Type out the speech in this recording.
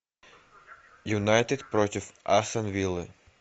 юнайтед против астон виллы